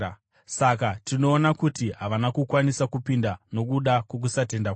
Saka tinoona kuti havana kukwanisa kupinda, nokuda kwokusatenda kwavo.